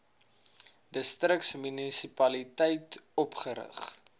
distriks munisipaliteit opgerig